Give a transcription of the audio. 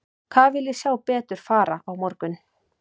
Hvað vil ég sjá betur fara á morgun?